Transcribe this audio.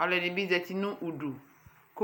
Aluɛdinibi zatii nu udu ku